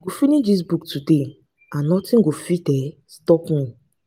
i go finish dis book today and nothing go fit um stop me